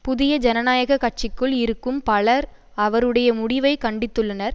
புதிய ஜனநாயக கட்சிக்குள் இருக்கும் பலர் அவருடைய முடிவைக் கண்டித்துள்ளனர்